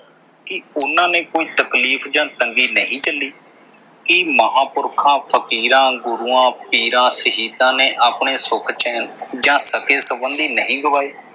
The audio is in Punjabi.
ਕੀ ਉਨ੍ਹਾਂ ਨੇ ਕੋਈ ਤਕਲੀਫ਼ ਜਾਂ ਤੰਗੀ ਨਹੀਂ ਝੱਲੀ। ਕੀ ਮਹਾਂਪੁਰਖਾਂ, ਫ਼ਕੀਰਾਂ, ਗੁਰੂਆਂ, ਪੀਰਾਂ, ਸ਼ਹੀਦਾਂ ਨੇ ਆਪਣੇ ਸੁੱਖ ਚੈਨ ਜਾਂ ਸਕੇ ਸੰਬੰਧੀ ਨਹੀਂ ਗਵਾਏ।